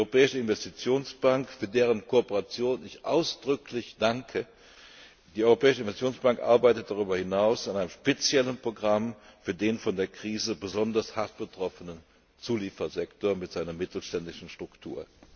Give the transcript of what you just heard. Die Europäische Investitionsbank für deren Kooperation ich ausdrücklich danke arbeitet darüber hinaus an einem speziellen Programm für den von der Krise besonders hart betroffenen Zuliefersektor mit seiner mittelständischen Struktur.